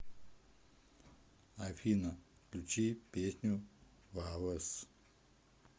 афина включи песню вавес